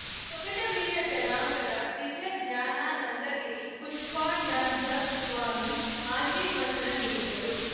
ತೊಗಟ ವೀರ ಜನಾಂಗದ ದಿವ್ಯಜ್ಞಾನಾನಂದಗಿರಿ ಪುಷ್ಪಾಂಡಜ ಸ್ವಾಮಿ ಆಶೀರ್ವಚನ ನೀಡಿದರು